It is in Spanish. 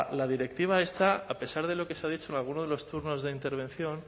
la directiva esta a pesar de lo que se ha dicho en alguno de los turnos de intervención